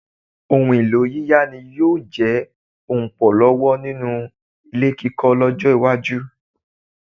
Ohun-ìlò yíyá ni yóò jẹ ọlpọ̀ owó nínú ilé kíkọ́ lọ́jọ́-iwájú.